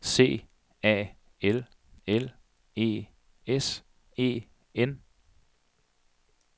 C A L L E S E N